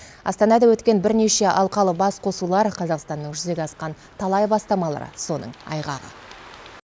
астанада өткен бірнеше алқалық басқосулар қазақстанның жүзеге асқан талай бастамалары соның айғағы